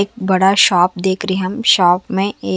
एक बड़ा शॉप देख रहे हम शॉप में ए--